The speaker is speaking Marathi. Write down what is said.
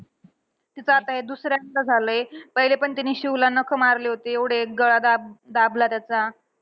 तिचं आता हे दुसऱ्यांदा झालंय. पहिले पण तिने शिवला नखं मारले होते. एवढे गळा दाब दाबला त्याचा.